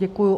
Děkuju.